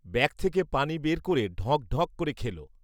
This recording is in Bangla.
ব্যাগ থেকে পানি বের করে ঢঁক ঢঁক করে খেল